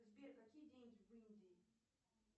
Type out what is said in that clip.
сбер какие деньги в индии